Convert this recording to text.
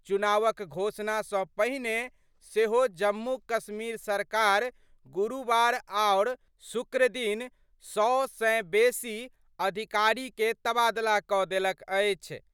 चुनावक घोषणा सं पहिने सेहो जम्मू-कश्मीर सरकार गुरुवार आओर शुक्रदिन सौ सं बेसि अधिकारी के तबादला क देलक अछि।